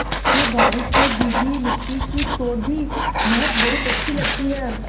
मुझे बारिश से भीगी मिट्टी की सौंधी महक बहुत अच्छी लगती है